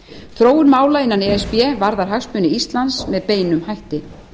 þróun mála innan e s b varðar hagsmuni íslands með beinum hætti